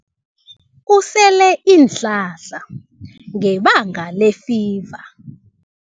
Usele iinhlahla ngebanga lefiva.